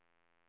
drag